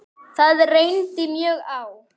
Það reyndi mjög á.